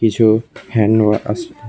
কিছু হ্যান্ড ওয়া আছে।